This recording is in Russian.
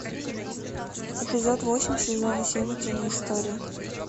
эпизод восемь сезон семь утиные истории